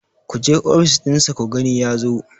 ku je ofis ɗinsa ku gani ya zo!